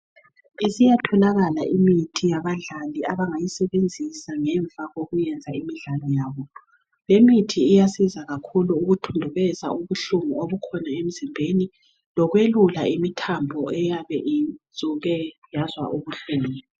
Isiyatholakala imithi yabadlali abangayisebenzisa ngemva kokuyenza imidlalo yabo. Le mithi iyasiza kakhulu ukuthundubeza ubuhlungu obukhona emzimbeni lokwelula imithambo eyabe isuke yazwa ubuhlungu.